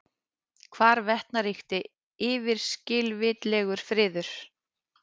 Hvarvetna ríkti yfirskilvitlegur friður.